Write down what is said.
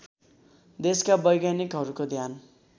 देशका वैज्ञानिकहरूको ध्यान